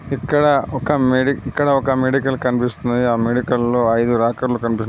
ఇక్కడ ఒక మెడీ ఇక్కడ ఒక మెడికల్ కనిపిస్తున్నది ఆ మెడికల్ లో ఐదు రేకర్లు కనిపిస్తు --